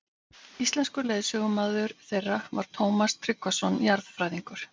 Íslenskur leiðsögumaður þeirra var Tómas Tryggvason jarðfræðingur.